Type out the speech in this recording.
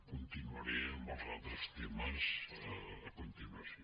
continuaré amb els altres temes a continuació